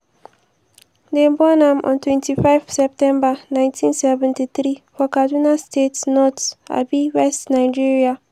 dem born am on twenty five september nineteen seventy three for kaduna state north um west nigeria.